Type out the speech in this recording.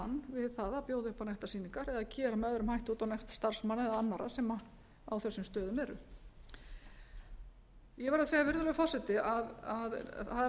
við það að bjóða upp á nektarsýningar eða gera með öðrum hætti út á nekt starfsmanna eða annarra sem á þessum stöðum eru ég verð að segja virðulegur forseti að það er